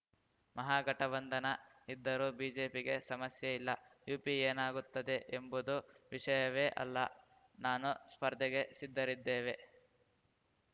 ಮಹಾಗಠಬಂಧನ ಇದ್ದರೂ ಬಿಜೆಪಿಗೆ ಸಮಸ್ಯೆ ಇಲ್ಲ ಯುಪಿ ಏನಾಗುತ್ತದೆ ಎಂಬುದು ವಿಷಯವೇ ಅಲ್ಲ ನಾನು ಸ್ಪರ್ಧೆಗೆ ಸಿದ್ಧರಿದ್ದೇವೆ